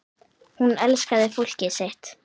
Hún elskaði fólkið sitt.